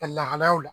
Ka lahalayaw la